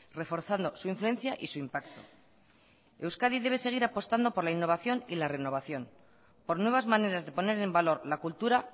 reforzando su influencia y su impacto euskadi debe seguir apostando por la innovación y la renovación por nuevas maneras de poner en valor la cultura